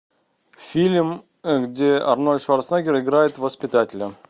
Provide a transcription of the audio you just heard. фильм где арнольд шварценеггер играет воспитателя